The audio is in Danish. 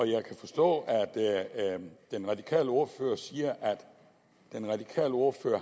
jeg kan forstå at den radikale ordfører siger at den radikale ordfører